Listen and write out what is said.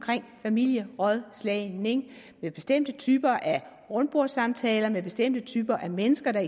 familierådslagning med bestemte typer rundbordssamtaler med bestemte typer mennesker der